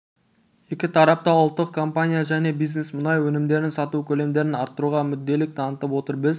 екі тарап та ұлттық компания және бизнес мұнай өнімдерін сату көлемдерін арттыруға мүдделілік танытып отыр біз